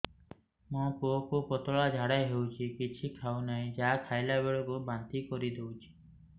ମୋ ପୁଅ କୁ ପତଳା ଝାଡ଼ା ହେଉଛି କିଛି ଖାଉ ନାହିଁ ଯାହା ଖାଇଲାବେଳକୁ ବାନ୍ତି କରି ଦେଉଛି